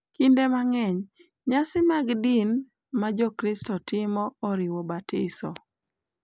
Kinde mang’eny, nyasi mag din ma Jokristo timo oriwo batiso, .